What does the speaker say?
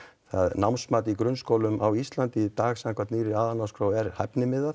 námsmat í grunnskólum á Íslandi í dag samkvæmt nýrri aðalnámskrá er